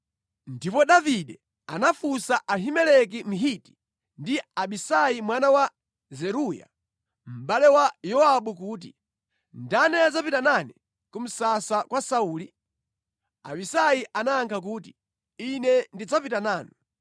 Ndipo Davide anafunsa Ahimeleki Mhiti ndi Abisai mwana wa Zeruya, mʼbale wa Yowabu kuti, “Ndani adzapita nane ku msasa kwa Sauli?” Abisai anayankha kuti, “Ine ndidzapita nanu.”